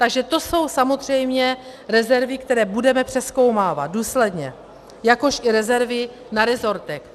Takže to jsou samozřejmě rezervy, které budeme přezkoumávat, důsledně, jakož i rezervy na resortech.